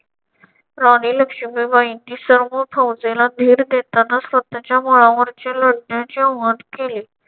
राणी लक्ष्मीबाईंनी सर्व फौजेला धीर देताना स्वतःच्या मुलावरचे लढण्याचे वर्णन केले.